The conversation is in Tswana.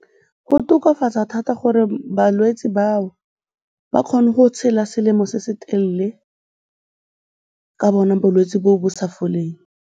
Go tokafatsa thata gore balwetse bao ba kgone go tshela selemo se se telele ka bona bolwetse bo bo sa foleng.